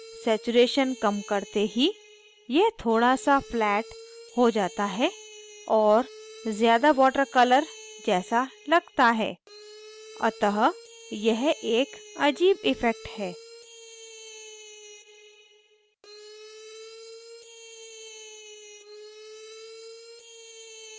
saturation colours करते ही यह थोड़ा so flatter हो जाता है और ज़्यादा water colours जैसा लगता है अतः यह एक अजीब इफ़ेक्ट है